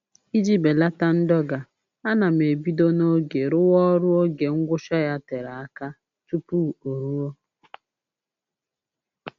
Iji belata ndọga, ana m ebido n'oge rụwa ọrụ oge ngwụcha ya tere aka tupu o ruo